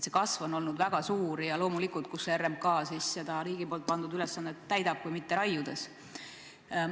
See kasv on olnud väga suur ja loomulikult, kuidas RMK seda riigi pandud ülesannet ikka täidab kui mitte raiudes.